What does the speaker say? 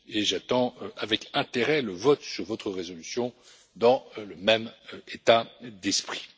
J'attends avec intérêt le vote sur votre résolution dans le même état d'esprit.